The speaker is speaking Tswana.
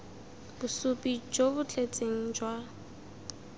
bosupi jo bo tletseng jwa